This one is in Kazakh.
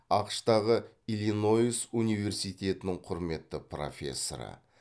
ақш тағы иллинойс университетінің құрметті профессоры